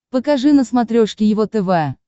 покажи на смотрешке его тв